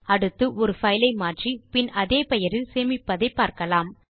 அடுத்து ஒரு பைல் ஐ மாற்றி பின் அதே பெயரில் சேமிப்பதை பார்க்கலாம்